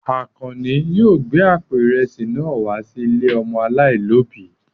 Àkànní yóò gbé àpò ìrẹsì náà wá sí ilé ọmọ aláìlóòbí.